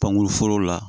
Pankuru foro la